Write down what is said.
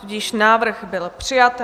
Tudíž návrh byl přijat.